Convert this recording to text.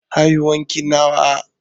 Haihuwar ki nawa?